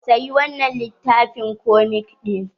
"sayi wannan littafin komik din".